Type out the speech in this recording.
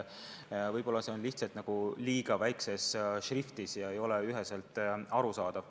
Võib-olla see on lihtsalt kuskil kirjas väga väikses šriftis ega ei ole ka üheselt arusaadav.